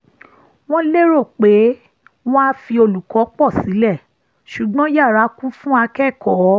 wọ́n lérò pé wọn á fi olùkọ́ pọ̀ sílẹ̀ ṣùgbọ́n yara kún fún akẹ́kọ̀ọ́